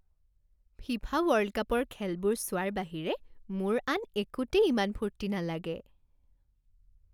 FIFA world কাপৰ খেলবোৰ চোৱাৰ বাহিৰে মোৰ আন একোতেই ইমান ফূৰ্তি নালাগে।